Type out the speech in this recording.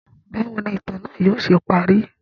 Bawo ni itan naa yóò ṣe pari?